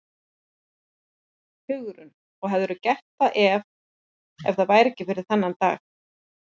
Hugrún: Og hefðirðu gert það ef, ef það væri ekki fyrir þennan dag?